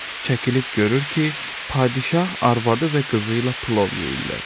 Çəkilib görür ki, padşah arvadı və qızı ilə plov yeyirlər.